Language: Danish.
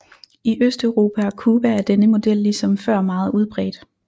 I Østeuropa og Cuba er denne model ligesom før meget udbredt